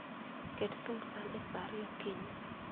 Ket thumb san e sa ariyo okinyi